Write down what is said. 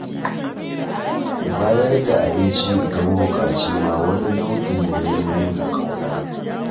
Bayar da abinci ga mabuƙaci ma wani nau'i ne na nuna ƙauna